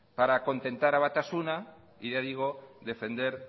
para contentar a batasuna y ya digo defender